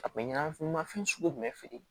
A kun bɛ ɲanama f'i ma fɛn sugu jumɛn feere